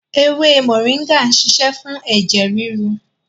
Ewé moringa ń ṣiṣẹ́ fún ẹ̀jẹ̀ ríru